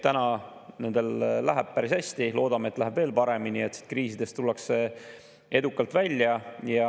Täna läheb nendel päris hästi, loodame, et läheb veel paremini ja et kriisidest tullakse edukalt välja.